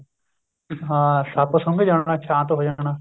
ਹਾਂ ਸੱਪ ਸੁੰਗ ਜਾਣਾ ਸਾਂਤ ਹੋ ਜਾਣਾ